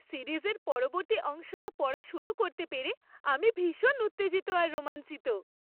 সিরিজের পরবর্তী অংশটা পড়া শুরু করতে পেরে আমি ভীষণ উত্তেজিত আর রোমাঞ্চিত!